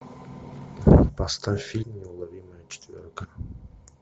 поставь фильм неуловимая четверка